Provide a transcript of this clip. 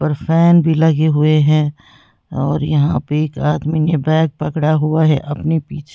Fan भी लगे हुए हैं और यहां पे एक आदमी ने बैग पकड़ा हुआ है अपने पीछे।